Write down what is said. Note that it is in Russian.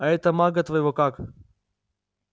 а этого мага твоего как